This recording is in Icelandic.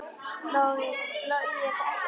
Logi þekkir þetta.